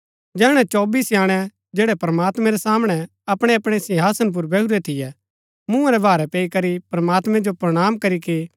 जैहणै चौबी स्याणै जैड़ै प्रमात्मैं रै सामणै अपणैअपणै सिंहासन पुर बैहुरै थियै मुँहा रै भारै पैई करी प्रमात्मैं जो प्रणाम करीके